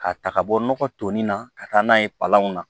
K'a ta ka bɔ nɔgɔ toli na ka taa n'a ye palanw na